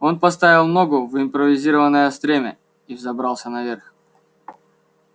он поставил ногу в импровизированное стремя и взобрался наверх